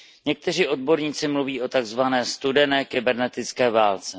Někteří odborníci mluví o takzvané studené kybernetické válce.